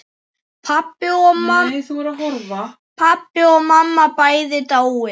Pabbi og mamma bæði dáin.